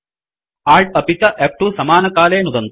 Alt अपि च फ्2 समानकाले इति नुदन्तु